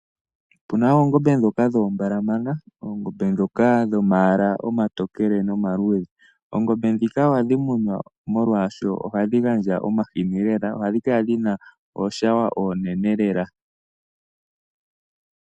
Opuna oongombe dhoka dho ma mbalamana, oongombe dhoka dho mayala omatokele noma luudhe. Oongombe dhika ohadhi munwa, molwaasho ohadhi gandja omahini lela, ohadhi kala dhina iishawo iinene lela.